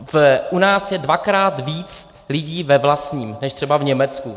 U nás je dvakrát víc lidí ve vlastním než třeba v Německu.